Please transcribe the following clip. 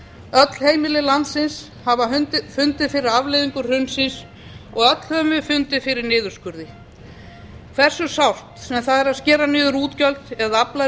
öll heimili landsins hafa fundið fyrir afleiðingum hrunsins og öll höfum við fundið fyrir niðurskurði hversu sárt sem það er að skera niður útgjöld eða afla